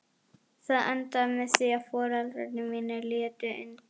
Það endaði með því að foreldrar mínir létu undan.